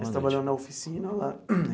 Você trabalhava na oficina lá?